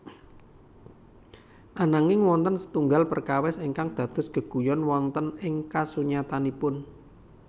Ananging wonten setunggal perkawis ingkang dados geguyon wonten ing kasunyatanipun